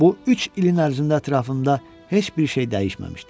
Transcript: Bu üç ilin ərzində ətrafında heç bir şey dəyişməmişdi.